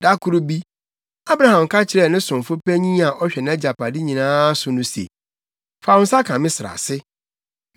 Da koro bi, Abraham ka kyerɛɛ ne somfo panyin a ɔhwɛ nʼagyapade nyinaa so no se, “Fa wo nsa ka me srɛ ase.